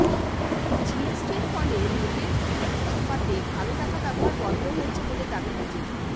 জিএসটির ফলে ভোটের ফ্লেক্স ছাপাতে কালো টাকা ব্যবহার বন্ধ হয়েছে বলে দাবি বিজেপির